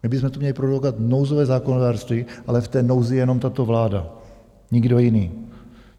My bychom tu měli produkovat nouzové zákonodárství, ale v té nouzi je jenom tato vláda, nikdo jiný.